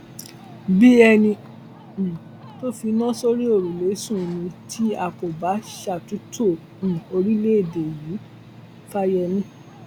bíi ẹni um tó finá sórí òrùlé sùn ni tí a kò bá ṣàtúntò um orílẹèdè yìí fàyémi